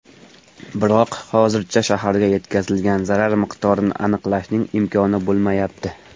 Biroq hozircha shaharga yetkazilgan zarar miqdorini aniqlashning imkoni bo‘lmayapti.